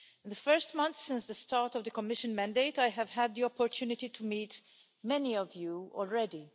The first months since the start of the Commission mandate I have had the opportunity to meet many of you already.